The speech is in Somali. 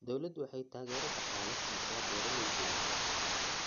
Dawladdu waxay taageero dhaqaale siisaa beeralayda yaryar.